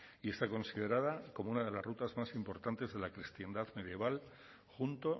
y está considerada como una de las rutas más importantes de la cristiandad medieval junto